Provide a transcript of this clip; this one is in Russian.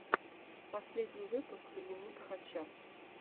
последний выпуск дневника хача